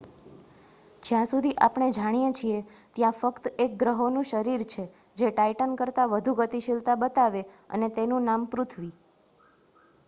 જ્યાં સુધી આપણે જાણીએ છીએ ત્યાં ફક્ત એક ગ્રહોનું શરીર છે જે ટાઇટન કરતા વધુ ગતિશીલતા બતાવે, અને તેનું નામ પૃથ્વી